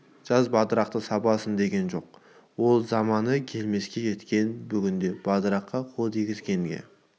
жаз батырақты сабасын деген жоқ ол заманы келмеске кеткен бүгінде батыраққа қол тигізгенге